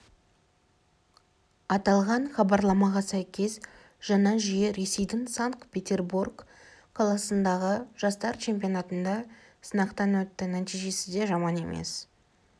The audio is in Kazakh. аталған іабарламаға сәйкес жаңа жүйе ресейдің санкт-петербор қаласындағы жастар чемпионатында сынақтан өтті нәтижесі де жаман емес